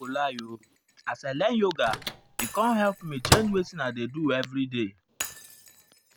i nor go lie o as i learn yoga e com help me change wetin i dey do everyday